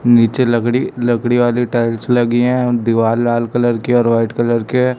नीचे लकड़ी लकड़ी वाली टाइल्स लगी हैं दीवाल लाल कलर की और व्हाइट कलर के--